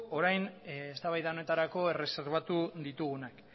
orain eztabaida honetarako erreserbatu ditugunak